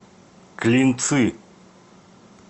клинцы